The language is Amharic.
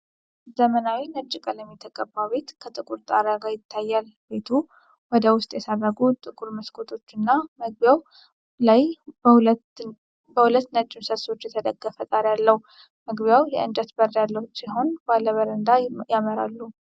ዘመናዊ ነጭ ቀለም የተቀባ ቤት ከጥቁር ጣሪያ ጋር ይታያል። ቤቱ ወደ ውስጥ የሰረጉ ጥቁር መስኮቶች እና መግቢያው ላይ በሁለት ነጭ ምሰሶዎች የተደገፈ ጣሪያ አለው። መግቢያው የእንጨት በር ያለው ሲሆን ባለ በረንዳ ያመራሉ።